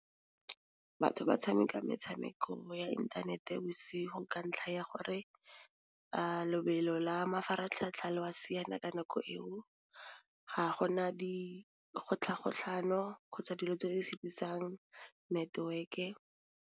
Batho ba tshameka metshameko ya inthanete bosigo ka ntlha ya gore lobelo la mafaratlhatlha lo a siana ka nako eo ga go na dikgotlhagotlhano kgotsa dilo tse di setisang network-e.